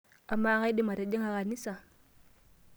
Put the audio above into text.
Amaa, kaidim atijing'a kanisa?